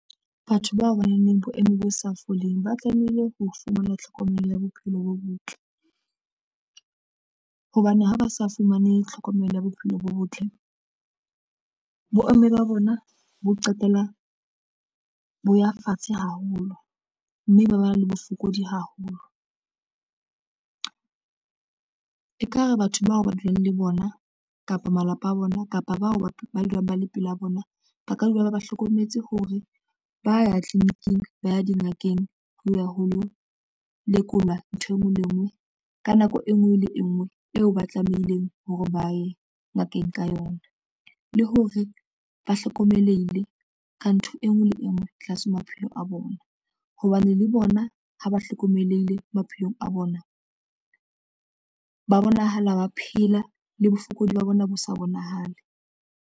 Batho bao baneng boemo bo sa foleng ba tlamehile ho fumana tlhokomelo ya bophelo bo botle hobane ha ba sa fumane tlhokomelo ya bophelo bo botle boemo ba bona bo qetella bo ya fatshe haholo mme ba ba na le bofokodi haholo. Ekare batho bao ba dulang le bona kapa malapa a bona kapa bao ba dulang ba le pela bona, ba ka dula ba hlokometse hore ba ya clinic, ing ba ya dingakeng ho ya ho lo lekolwa nthwe ngwe le engwe ka nako e nngwe le e nngwe eo ba tlameileng hore ba ye ngakeng ka yona le hore ba hlokomelehile ka ntho enngwe le enngwe tlase. Maphelo a bona, hobane le bona ha ba hlokomelehile maphelong a bona ba bonahala ba phela le bofokodi ba bona bo sa bonahale.